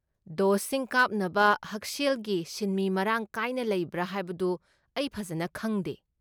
ꯗꯣꯁꯁꯤꯡ ꯀꯥꯞꯅꯕ ꯍꯛꯁꯦꯜꯒꯤ ꯁꯤꯟꯃꯤ ꯃꯔꯥꯡ ꯀꯥꯏꯅ ꯂꯩꯕ꯭ꯔꯥ ꯍꯥꯏꯕꯗꯨ ꯑꯩ ꯐꯖꯟꯅ ꯈꯪꯗꯦ꯫